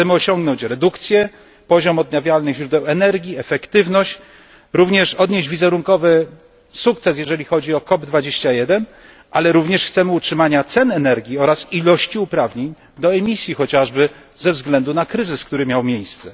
Chcemy osiągnąć redukcję, zwiększyć poziom odnawialnych źródeł energii, efektywność, odnieść także wizerunkowy sukces, jeżeli chodzi o COP21, ale również chcemy utrzymania cen energii oraz ilości uprawnień do emisji, chociażby ze względu na kryzys, który miał miejsce.